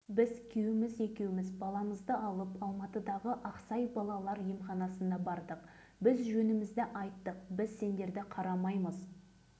олар біздің жауабымызды ести сала павлодар облысының мамыр ауданындағы адамдар семей облысындағы сынақ алаңына жақын орналасқан